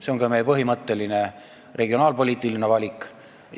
See on ka meie põhimõtteline regionaalpoliitiline valik.